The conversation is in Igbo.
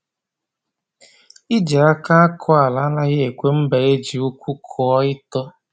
Iji aka akọ ala anaghi ekwe mba e ji uku kụọ ito